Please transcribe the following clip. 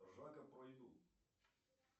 ржака про еду